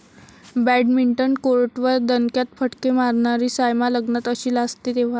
badminton कोर्टवर दणक्यात फटके मारणारी सायना लग्नात अशी लाजते तेव्हा...